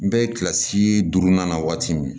N bɛ kilasi duurunan na waati min